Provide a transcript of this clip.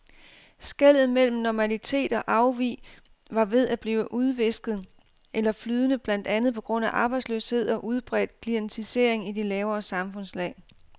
Skellet mellem normalitet og afvig var ved at blive udvisket eller flydende blandt andet på grund af arbejdsløshed og udbredt klientisering i de lavere samfundslag.